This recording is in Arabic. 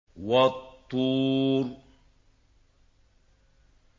وَالطُّورِ